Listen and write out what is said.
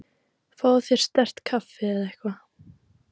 Fáðu þér sterkt kaffi eða eitthvað.